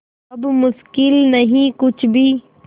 अब मुश्किल नहीं कुछ भी